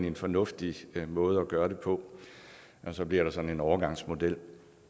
en fornuftig måde at gøre det på så bliver der sådan en overgangsmodel